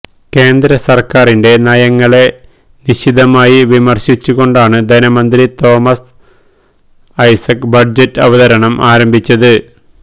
കേന്ദ്ര സര്ക്കാരിന്റെ നയങ്ങളെ നിശിതമായി വിമര്ശിച്ചുകൊണ്ടാണ് ധനമന്ത്രി തോമസ് ഐസക്ക് ബജറ്റ് അവതരണം ആരംഭിച്ചത്